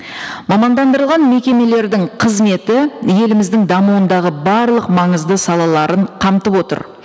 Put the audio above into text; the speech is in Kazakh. мамандандырылған мекемелердің қызметі еліміздің дамуындағы барлық маңызды салаларын қамтып отыр